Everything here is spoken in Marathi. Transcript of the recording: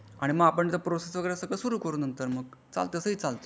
आणि मग आपण जो प्रोसेस सुरू करू नंतर मग तसाही चालते तसाही चालते.